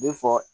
Ne fɔ